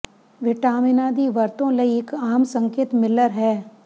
ਵਿਟਾਮਿਨਾਂ ਦੀ ਵਰਤੋਂ ਲਈ ਇੱਕ ਆਮ ਸੰਕੇਤ ਮਿੱਲਰ ਹੈ